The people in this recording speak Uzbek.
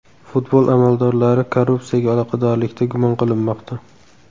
Futbol amaldorlari korrupsiyaga aloqadorlikda gumon qilinmoqda.